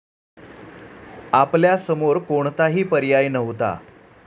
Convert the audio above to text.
आपल्या समोर कोणताही पर्याय नव्हता.